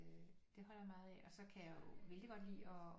Øh det holder jeg meget af og så kan jeg vældigt godt lide at